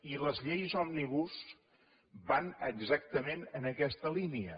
i les lleis òmnibus van exactament en aquesta línia